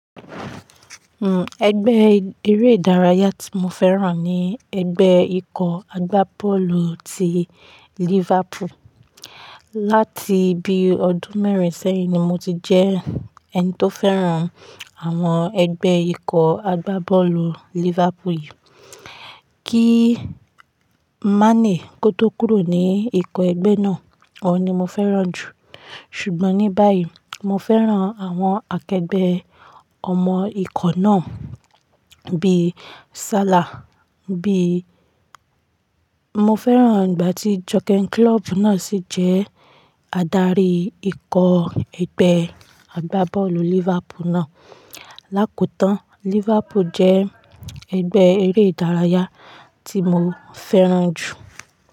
Hmm. Ẹgbẹ́ eré ìdárayá tí mo fẹ́ràn ni ẹgbẹ́ ikọ̀ agbá bọ́ọ̀lù ti Liverpool. Láti bí i ọdún mẹ́rin sẹ́yìn ni mo ti jẹ́ ẹni tó fẹ́ràn àwọn ẹgbẹ́ ikọ̀ agbá bọ́ọ̀lù Liverpool yìí. Kí Mané kó tó kúrò ní ikọ̀ ẹgbẹ́ náà, ọ̀ ní mo fẹ́ràn jù. Ṣùgbọ́n ní báyìí, mo fẹ́ràn àwọn akẹgbẹ́ ọmọ ikọ̀ náà bí i Salah, bí i Mo fẹ́ràn ìgbà tí Jürgen Klopp náà sì jẹ́ adarí ikọ̀ ẹgbẹ́ agbá bọ́ọ̀lù Liverpool náà. Láìko tán, Liverpool jẹ́ ẹgbẹ́ eré ìdárayá tí mo fẹ́ràn jù.